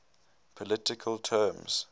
political terms